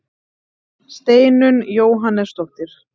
Steinunn Jóhannesdóttir.